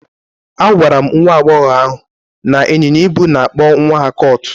Agwara m nwa agbọghọ ahụ na ịnyịnya ibu na-akpọ nwa ha colt.